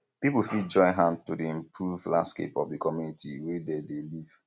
pipo fit join hand to improve di landscape of the community wey dem dey live